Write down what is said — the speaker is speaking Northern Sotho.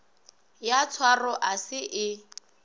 ya tshwaro ga se e